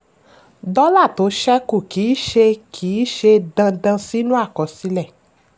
dọ́là tó ṣẹ́kù kì í ṣe kì í ṣe dandan sínú àkọsílẹ̀.